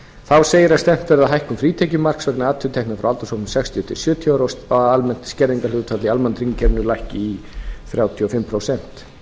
þá segir að stefnt verði að hækkun frítekjumarks vegna atvinnutekna fyrir aldurshópinn sextíu og sjö til sjötíu ára og að almennt skerðingarhlutfall í almannatryggingakerfinu lækki í þrjátíu og fimm prósent